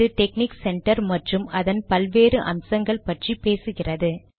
இது technique centre மற்றும் அதன் பல்வேறு அம்சங்கள் பற்றி பேசுகிறது